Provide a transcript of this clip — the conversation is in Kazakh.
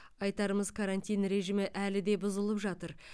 айтарымыз карантин режимі әлі де бұзылып жатыр